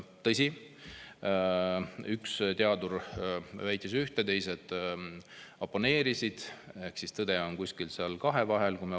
Tõsi, üks teadur väitis ühte, teised oponeerisid, ehk siis tõde on kusagil seal kahe vahel.